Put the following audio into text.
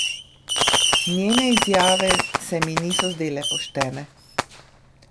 Njene izjave se mi niso zdele poštene.